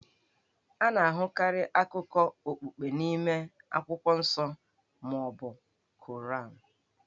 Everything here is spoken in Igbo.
A na-ahụkarị akụkọ okpukpe n'ime akwụkwọ nsọ ma ọ bụ Koran.